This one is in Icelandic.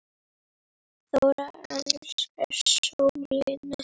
Þóra elskaði sólina.